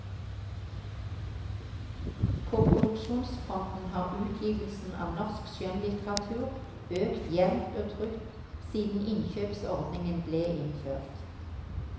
På produksjonsfronten har utgivelsen av norsk skjønnlitteratur økt jevnt og trutt siden innkjøpsordningen ble innført.